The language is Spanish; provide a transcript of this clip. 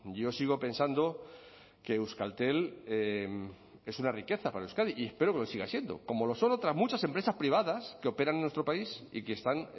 yo sigo pensando que euskaltel es una riqueza para euskadi y espero que lo siga siendo como lo son otras muchas empresas privadas que operan en nuestro país y que están